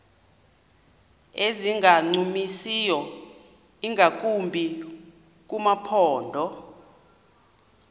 ezingancumisiyo ingakumbi kumaphondo